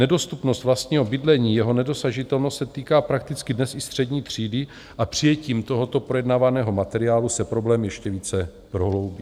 Nedostupnost vlastního bydlení, jeho nedosažitelnost se týká prakticky dnes i střední třídy a přijetím tohoto projednávaného materiálu se problém ještě více prohloubí.